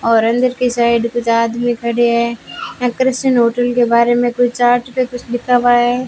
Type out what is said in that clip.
और अंदर के साइड कुछ आदमी खड़े हैं यहां क्रिश्चियन होटल के बारे में कोई चार्ट पे कुछ लिखा हुआ है।